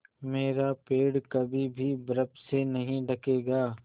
मेरा पेड़ कभी भी बर्फ़ से नहीं ढकेगा